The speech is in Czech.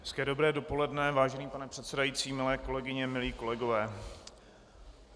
Hezké dobré dopoledne, vážený pane předsedající, milé kolegyně, milí kolegové.